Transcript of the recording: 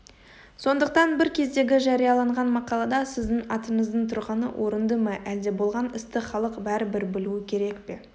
сондықтан бір кездегі жарияланған мақалада сіздің атыңыздың тұрғаны орынды ма әлде болған істі халық бәрібір білуі керек пе